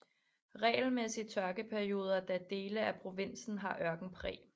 Regelmæssige tørkeperioder da dele af provinsen har ørkenpræg